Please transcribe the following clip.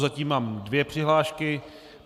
Zatím mám dvě přihlášky.